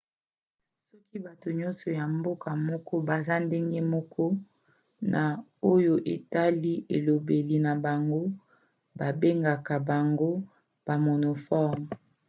soki bato nyonso ya mboka moko baza ndenge moko na oyo etali elobeli na bango babengaka bango bamonomorphes